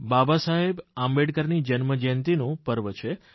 બાબા સાહેબ આંબેડકરની જન્મજયંતિનું પર્વ છે